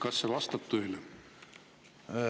Kas see vastab tõele?